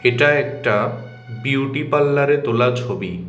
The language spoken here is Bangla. এটা একটা বিউটি পার্লারে তোলা ছবি।